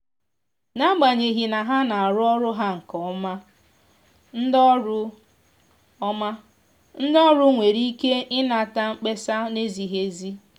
n’agbanyeghị na ha na arụ ọrụ ha nke ọma ndị ọrụ ọma ndị ọrụ nwere ike inata mkpesa na-ezighi ezi.